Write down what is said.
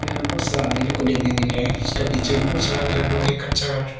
यहां में बहुत सारा आदमी लोग को देखने में मिल रहा है उसका पीछे में बहुत सारा घर लोग है कच्चा घर।